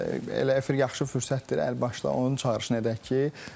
Əlbəttə, elə efir yaxşı fürsətdir əlbaşda.